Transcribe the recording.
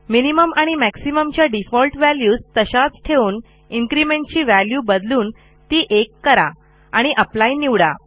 minimum आणि maximum च्या default values तशाच ठेवून इन्क्रिमेंट ची व्हॅल्यू बदलून ती 1 करा आणि एप्ली निवडा